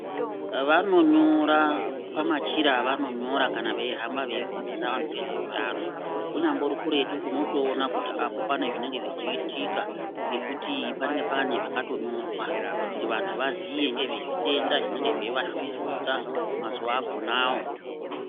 Vanonyora pamachira avanonyora kana veihamba veifundisa vanthu ngezveutano unyambori kuretu unotoona kuti apo pane zvinenge zvechiitika ngekuti panenge pane zvakatonyorwa kuti vanthu vaziye ngezvezvitenda zvinenge zveitovashugurudza mazuwa akonawo.